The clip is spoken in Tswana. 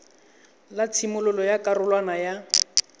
la tshimololo ya karolwana ya